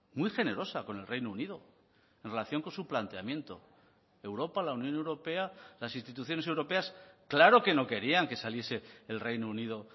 muy generosa con el reino unido en relación con su planteamiento europa la unión europea las instituciones europeas claro que no querían que saliese el reino unido